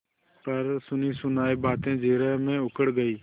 पर सुनीसुनायी बातें जिरह में उखड़ गयीं